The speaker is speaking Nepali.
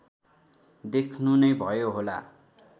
देख्नु नै भयो होला